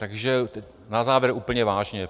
Takže na závěr úplně vážně.